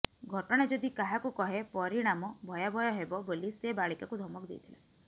ଘଟନା ଯଦି କାହାକୁ କହେ ପରିଣାମ ଭୟାବହ ହେବ ବୋଲି ସେ ବାଳିକାକୁ ଧମକ ଦେଇଥିଲା